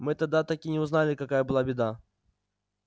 мы тогда так и не узнали какая была беда